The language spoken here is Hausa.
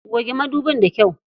Goge madubin da kyau.